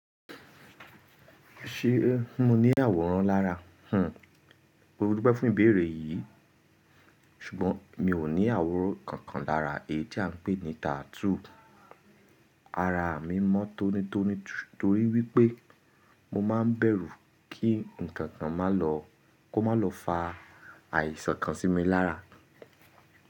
Ṣé mo ní àwòrán lára? Hm, mó dúpẹ́ fún ìbéèrè yìí ṣùgbọ́n mi ò ní àwòrán kankan lára èyí tí à ń pè ní tattoo. Ara mi mọ́ tónítóní torí wípé mo máa ń bẹ̀rù kí ǹkankan máa lọ kó má lọ fa àìsàn kan sí mi lára.